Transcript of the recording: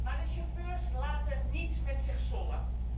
Maar de chauffeurs laten niet met zich sollen.